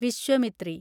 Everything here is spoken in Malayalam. വിശ്വമിത്രി